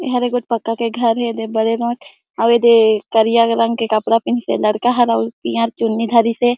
एहर एगो पत्थर के घर हे अउ एदे करिया रंग के कपडा पहन के लड़का हे अउ पियर चुनी धरिस हे।